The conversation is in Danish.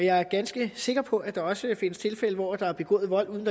jeg er ganske sikker på at der også vil findes tilfælde hvor der er begået vold uden